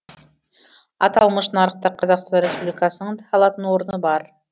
аталмыш нарықта қазақстан республикасының да алатын орны бар